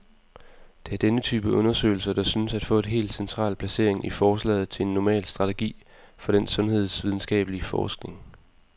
Det er denne type undersøgelser, der synes at få et helt central placering i forslaget til en normal strategi for den sundhedsvidenskabelig forskning.